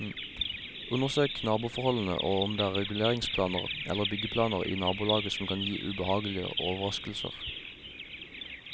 Undersøk naboforholdene og om det er reguleringsplaner eller byggeplaner i nabolaget som kan gi ubehagelige overraskelser.